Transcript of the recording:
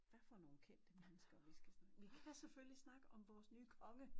Hvad for nogen kendte mennesker vi skal snakke om vi kan selvfølgelig snakke om vores nye konge